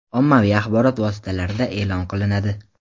ommaviy axborot vositalarida eʼlon qilinadi.